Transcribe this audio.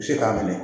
Se k'a minɛ